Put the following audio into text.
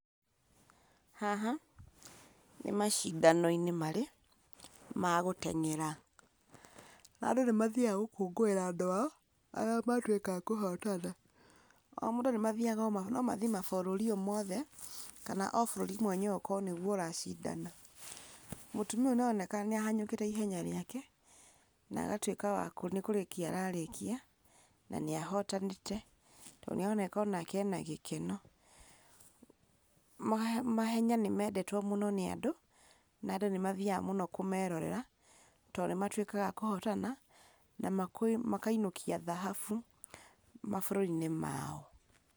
Haha, nĩ macindano-inĩ marĩ, ma gũteng'era, na andu nĩmathiaga gũkũngũĩra andũ ao, arĩa matuĩka a kũhotana, o mũndũ nĩmathiaga kũ nomathiĩ mabũrũri o mothe, kana o bũrũri mwenyewe ũkorwo nĩguo ũracindana, mũtumia ũyũ nĩaroneka ahenyũkĩte ihenya rĩake, nagatuĩka wakũ nĩkũrĩkia rarĩkia, na nĩahotanĩte, to nĩaroneka onake ena gĩkeno, mahenya nĩmendetwo mũno nĩ andũ, na andũ nĩmathiaga mũno kũmerorera, to nĩmatuĩkaga akũhotana, na makainũkia thahabu mabũrũri-inĩ mao.